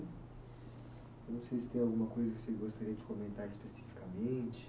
Eu não sei se tem alguma coisa que você gostaria de comentar especificamente.